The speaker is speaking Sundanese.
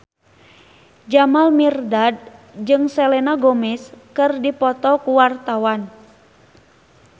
Jamal Mirdad jeung Selena Gomez keur dipoto ku wartawan